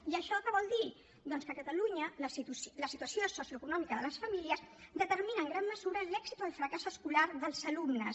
i això què vol dir doncs que a catalunya la situació socioeconòmica de les famílies determina en gran mesura l’èxit o el fracàs escolar dels alumnes